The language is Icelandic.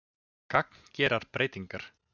Gagngerar breytingar.